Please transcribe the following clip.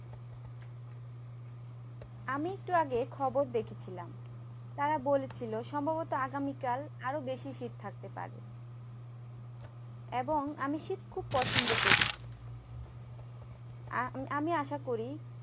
আমি একটু আগে খবর দেখছিলাম তারা বলেছিলো সম্ভবত আগামীকাল আরো বেশি শীত থাকতে পারে এবং আমি শীত খুব পছন্দ করি আর আহ আমি আশা করি